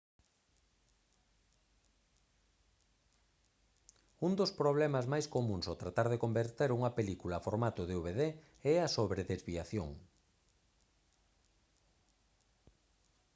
un dos problemas máis comúns ao tratar de converter unha película a formato dvd é a sobredesviación